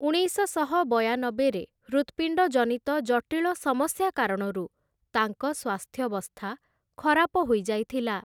ଉଣେଇଶଶହ ବୟାନବେରେ ହୃତ୍‌ପିଣ୍ଡଜନିତ ଜଟିଳ ସମସ୍ୟା କାରଣରୁ ତାଙ୍କ ସ୍ୱାସ୍ଥ୍ୟବସ୍ଥା ଖରାପ ହୋଇଯାଇଥିଲା ।